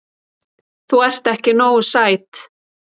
Þú ert ekki nógu sæt.